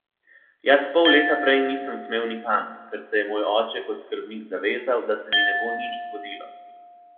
Jaz pol leta prej nisem smel nikamor, ker se je moj oče kot skrbnik zavezal, da se mi ne bo nič zgodilo.